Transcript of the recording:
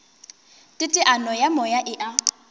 teteano ya moya e a